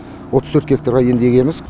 отыз төрт гектарға енді егеміз